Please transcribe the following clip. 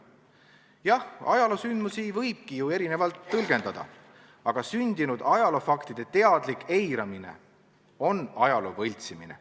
Jah, ajaloosündmusi võibki ju erinevalt tõlgendada, aga sündinud ajaloofaktide teadlik eiramine on ajaloo võltsimine.